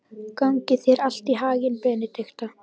Gangi þér allt í haginn, Benidikta.